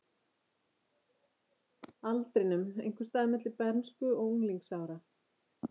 aldrinum, einhvers staðar milli bernsku og unglingsára.